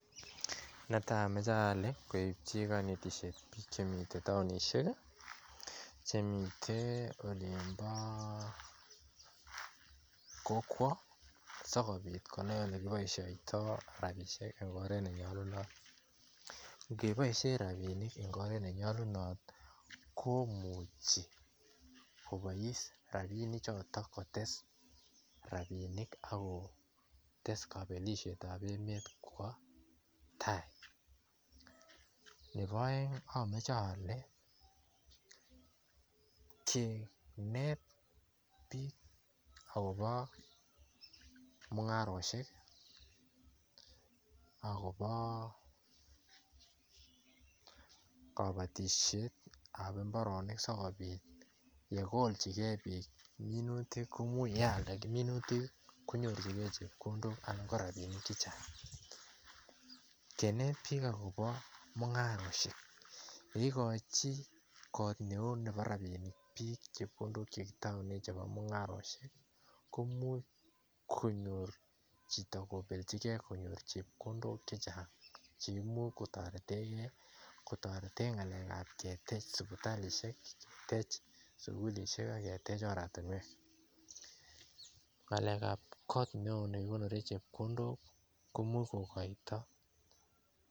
Natali amache ale koityin kanetishet ab bik Chemiten taonishiek Chemiten olimbo kokwo sikobit Kenai olekibaishoitoi rabishek en oret neyalunot kebaishen rabinik en oret neyalunot koimuchi kobais rabinik choton kotes rabinik ako test kabelishet ab emet Kwa tai Nebo aeng amache ale kenet bik akobo mungaroshek akobo kabatishet ab imbaronik sikobit yekolchin gei bik minutik neimuche koyalde minutik konyorchinegei chepkondok anan korabinik chechang kenet bik akobo mungaret yeikachi Neu Nebo rabinik bik chepkondok chetaunen mungaroshek komuch konyor kelchin Chito kobelchigei konyor chepkondok chechang cheimuch kotareten gei ketaretengei ngalek ab ketech sibitalishek ,ketech sugulishek agetech oratinwek ngalek ab kot neon nekikonoren chepkondok komuch kokaito